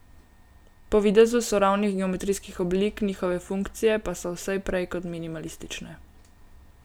Po videzu so ravnih geometrijskih oblik, njihove funkcije pa so vse prej kot minimalistične.